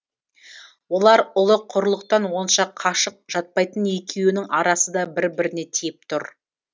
олар ұлы құрылықтан онша қашық жатпайтын екеуінің арасы да бір біріне тиіп тұр